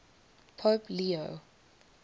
pope leo